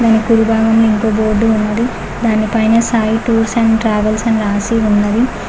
Link board ఉంది దానిపైన Sai tours and travels అని రాసి ఉన్నది.